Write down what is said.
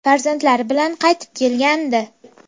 Farzandlari bilan qaytib kelgandi.